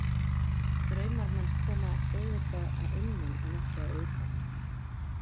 Draumar manns koma auðvitað að innan en ekki utan.